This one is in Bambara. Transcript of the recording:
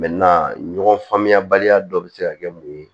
ɲɔgɔn faamuyabaliya dɔ bɛ se ka kɛ mun ye